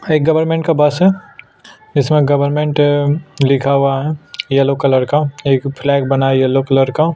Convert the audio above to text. हाय government का bus है government लिखा हुआ है येलो कलर का एक फ्लैग बना हुआ है येलो कलर का--